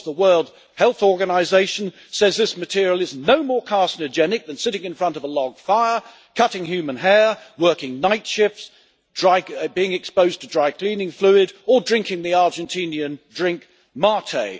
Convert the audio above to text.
The World Health Organization says this material is no more carcinogenic than sitting in front of a log fire, cutting human hair, working night shifts, being exposed to dry cleaning fluid or drinking the Argentinian drink mate'.